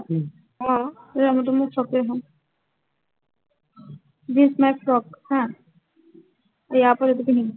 আহ এই color টো মোৰ favorite হয়। this my frock হা, ইয়াৰ ওপৰত এইটো পিন্ধিম,